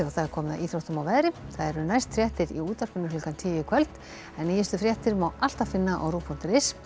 komið að íþróttum og veðri það eru næst fréttir í útvarpinu klukkan tíu í kvöld en nýjustu fréttir má alltaf finna á rúv punktur is